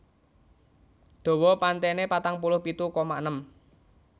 Dawa pantênê patang puluh pitu koma enem